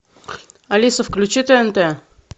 алиса включи тнт